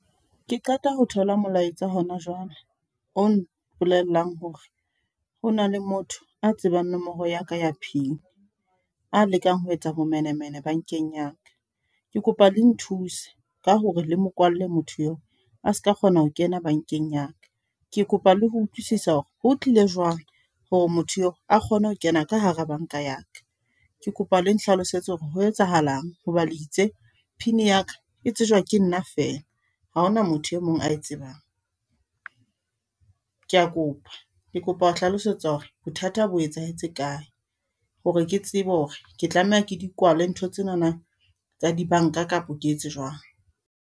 Ke qeta ho thola molaetsa hona jwale, o mpolellang hore hona le motho a tsebang nomoro ya ka ya pin a lekang ho etsa bomenemene bankeng ya ka. Ke kopa le nthuse ka hore le mo kwallwe motho eo a ska kgona ho kena bankeng ya ka. Ke kopa le ho utlwisisa hore ho tlile jwang hore motho eo a kgone ho kena ka hara banka ya ka. Ke kopa le nhlalosetse hore ho etsahalang hoba le itse pin ya ka e tsejwa ke nna feela, ha hona motho e mong ae tsebang. Ke a kopa, ke kopa ho hlalosetswa hore bothata bo etsahetse kae hore ke tsebe hore ke tlameha ke di kwale ntho tsenana, tsa dibanka kapa ke etse jwang.